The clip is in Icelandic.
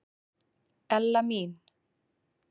Ella mín.